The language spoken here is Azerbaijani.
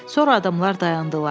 Sonra adamlar dayandılar.